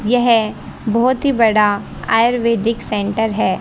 यह बहोत ही बड़ा आयुर्वैदिक सेंटर है।